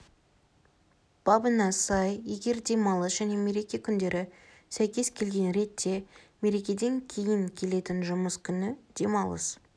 бабына сай егердемалыс және мереке күндері сәйкес келген ретте мерекеден кейін келетін жұмыс күні демалыс